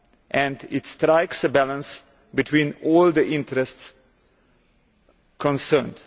and it strikes a balance between all the interests concerned.